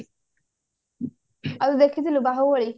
ଆଉ ଦେଖିଥିଲୁ ବାହୁବଳି